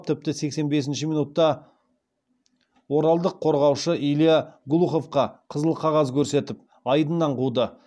тіпті сексен бесінші минутта оралдық қорғаушы илья глуховқа қызыл қағаз көрсетіп айдыннан қуды